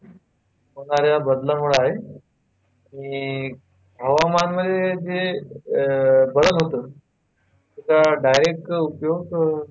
होणाऱ्या बदलामुळे आहे आणि हवामानामध्ये जे अह बदल होतो त्याचा direct उपयोग,